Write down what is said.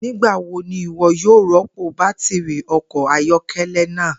Nigbawo ni iwọ yoo rọpo batiri ọkọ ayọkẹlẹ naa?